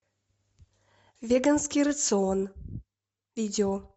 веганский рацион видео